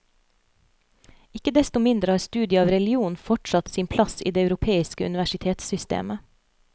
Ikke desto mindre har studiet av religion fortsatt sin plass i det europeiske universitetssystemet.